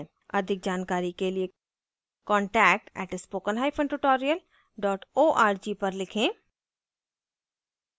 अधिक जानकारी के लिए contact @spoken hyphen tutorial dot org पर लिखें